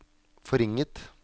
forringet